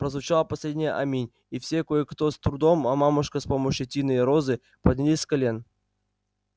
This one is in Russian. прозвучало последнее аминь и все кое-кто с трудом а мамушка с помощью тины и розы поднялись с колен